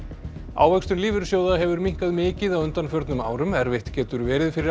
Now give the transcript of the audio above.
ávöxtun lífeyrissjóða hefur minnkað mikið á undanförnum árum erfitt getur verið fyrir